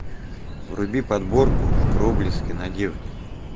вруби подборку проблески надежды